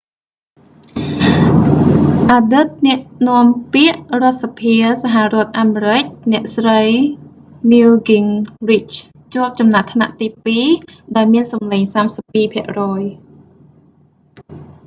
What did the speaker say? អតីតអ្នកនាំពាក្យរដ្ឋសភាសហរដ្ឋអាមេរិក អ្នកស្រី newt gingrich ជាប់ចំណាត់ថ្នាក់ទីពីរ ដោយមានសំឡេង 32 ភាគរយ